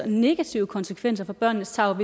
negative konsekvenser for barnets tarv